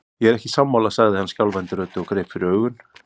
Ég er ekki sammála, sagði hann skjálfandi röddu og greip fyrir augun.